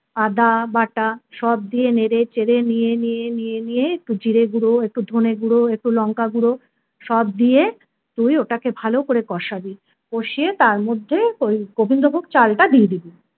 আদাবাটা সব দিয়ে নেড়ে চেড়ে নিয়ে নিয়ে নিয়ে নিয়ে একটু জিরে গুঁড়ো একটু ধনে গুঁড়ো একটু লঙ্কাগুঁড়ো সব দিয়ে তুই ওটাকে ভালো করে কষাবি, কষিয়ে তার মধ্যে ওই গোবিন্দভোগ চালটা দিয়ে দিবি।